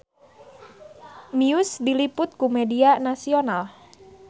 Muse diliput ku media nasional